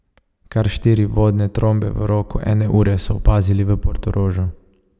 Kar štiri vodne trombe v roku ene ure so opazili v Portorožu.